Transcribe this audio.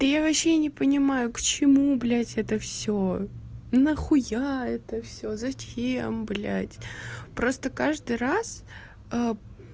да я вообще не понимаю к чему блядь это всё на хуя это всё зачем блядь просто каждый раз